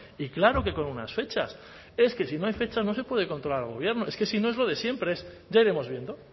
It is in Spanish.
y claro que con unas fechas es que si no hay fechas no se puede controlar al gobierno es que si no es lo de siempre es ya iremos viendo